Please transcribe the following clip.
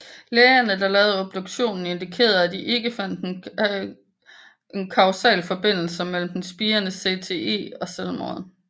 Lægerne der lavede obduktionen indikererede at de ikke fandt en kausal forbindelse mellem den spirende CTE og selvmordet